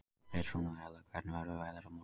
Petrónella, hvernig verður veðrið á morgun?